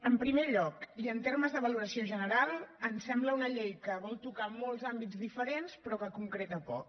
en primer lloc i en termes de valoració general em sembla que és una llei que vol tocar molts àmbits diferents però que concreta poc